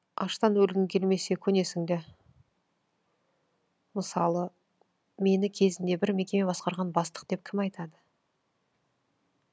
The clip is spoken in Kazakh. аштан өлгің келмесе көнесің да мысалы мені кезінде бір мекеме басқарған бастық деп кім айтады